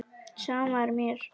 Sama er mér.